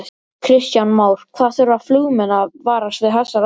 Kristján Már: Hvað þurfa flugmenn að varast við þessar aðstæður?